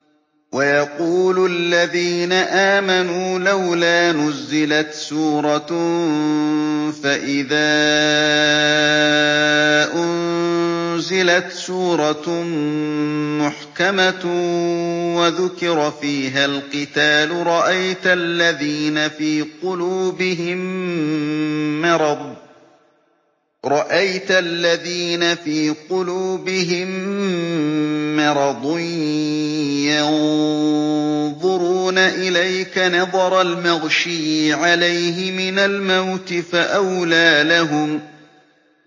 وَيَقُولُ الَّذِينَ آمَنُوا لَوْلَا نُزِّلَتْ سُورَةٌ ۖ فَإِذَا أُنزِلَتْ سُورَةٌ مُّحْكَمَةٌ وَذُكِرَ فِيهَا الْقِتَالُ ۙ رَأَيْتَ الَّذِينَ فِي قُلُوبِهِم مَّرَضٌ يَنظُرُونَ إِلَيْكَ نَظَرَ الْمَغْشِيِّ عَلَيْهِ مِنَ الْمَوْتِ ۖ فَأَوْلَىٰ لَهُمْ